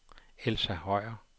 Elsa Høyer